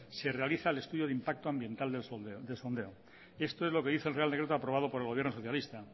se realiza el estudio de impacto ambiental del sondeo esto es lo que dice el real decreto aprobado por el gobierno socialista